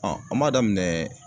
an b'a daminɛ